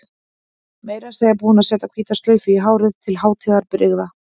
Meira að segja búin að setja hvíta slaufu í hárið til hátíðarbrigða.